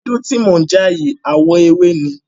Ewédú tí mò ń já yìí àwọ̀ ewé ni.